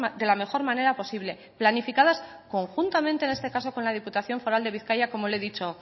de la mejor manera posible planificadas conjuntamente en este caso con la diputación foral de bizkaia como le he dicho